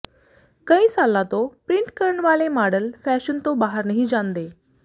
ਕਈ ਸਾਲਾਂ ਤੋਂ ਪ੍ਰਿੰਟ ਕਰਨ ਵਾਲੇ ਮਾਡਲ ਫੈਸ਼ਨ ਤੋਂ ਬਾਹਰ ਨਹੀਂ ਜਾਂਦੇ